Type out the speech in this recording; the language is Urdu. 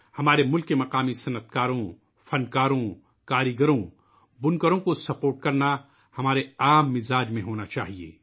ہمارے ملک کے مقامی صنعت کاروں ، فن کاروں ، دست کاروں ، بنکروں کی حمایت کرنا ، ہمارے رویے میں ہونا چاہیئے